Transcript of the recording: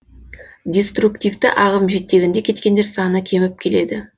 диструктивті ағым жетегінде кеткендер саны кеміп келеді